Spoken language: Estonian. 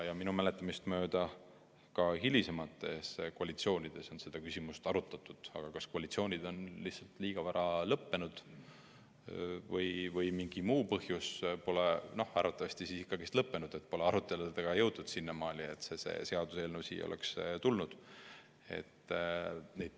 Minu mäletamist mööda on ka hilisemates koalitsioonides seda küsimust arutatud, aga võib-olla on koalitsioonide lihtsalt liiga vara lõppenud või on olnud mingi muu põhjus, arvatavasti ikkagi lõppenud, et pole aruteludega jõutud sinnamaani, et see seaduseelnõu oleks siia saali toodud.